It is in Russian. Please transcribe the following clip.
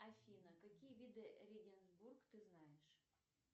афина какие виды регенсбург ты знаешь